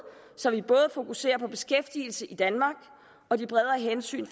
så vi både fokuserer på beskæftigelse i danmark og de bredere hensyn